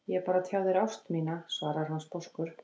Ég er bara að tjá þér ást mína, svarar hann sposkur.